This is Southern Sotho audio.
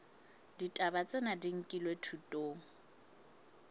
ditaba tsena di nkilwe thutong